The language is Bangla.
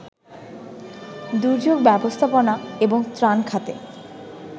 দুর্যোগ ব্যবস্থাপনা এবং ত্রাণ খাতে